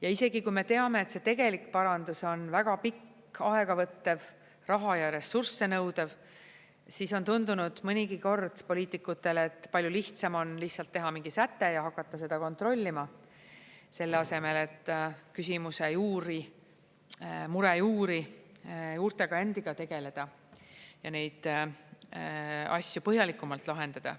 Ja isegi kui me teame, et see tegelik parandus on väga pikk, aega võttev, raha ja ressursse nõudev, siis on tundunud mõnigi kord poliitikutele, et palju lihtsam on teha mingi säte ja hakata seda kontrollima, selle asemel et küsimuse juurte, mure juurtega endiga tegeleda ja neid asju põhjalikumalt lahendada.